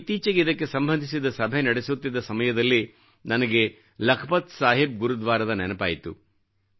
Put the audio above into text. ನಾನು ಇತ್ತೀಚೆಗೆ ಇದಕ್ಕೆ ಸಂಬಂಧಿಸಿದ ಸಭೆ ನಡೆಸುತ್ತಿದ್ದ ಸಮಯದಲ್ಲೇ ನನಗೆ ಲಖಪತ್ ಸಾಹಿಬ್ ಗುರುದ್ವಾರದ ನೆನಪಾಯಿತು